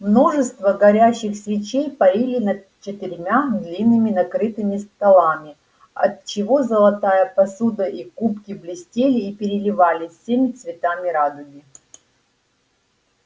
множество горящих свечей парили над четырьмя длинными накрытыми столами отчего золотая посуда и кубки блестели и переливались всеми цветами радуги